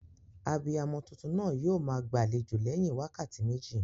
Abiyamo tuntun naa yio maa gbàlejò léyin wákàtí méjì